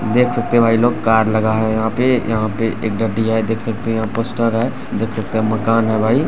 देख सकते भाई लोग कार लगा है यहाँ पे यहाँ पे एक गड्डी है देख सकते यहा पोस्टर है देख सकते मकान है भाई ।